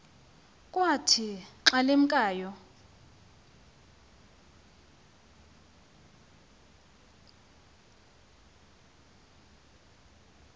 kwathi xa limkayo